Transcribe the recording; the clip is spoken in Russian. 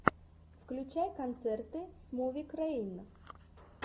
включай концерты смувюкрэйн